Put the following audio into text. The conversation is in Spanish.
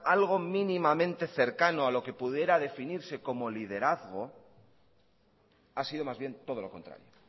algo mínimamente cercano a lo que pudiera definirse como liderazgo ha sido más bien todo lo contrario